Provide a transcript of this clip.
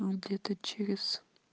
где-то через